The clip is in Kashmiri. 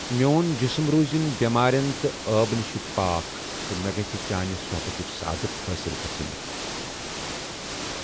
میون جسم روٗزِن بٮ۪مارٮ۪ن تہٕ عٲب نِش پاک تہٕ مےٚ گژھ چانہِ صحبتٕچہِ سعادت حٲصِل گژھٕنۍ ۔